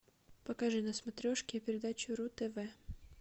покажи на смотрешке передачу ру тв